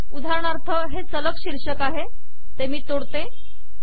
उदाहरणार्थ हे सलग शीर्षक आहे ते मी तोडतो